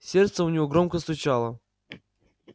сердце у него громко стучало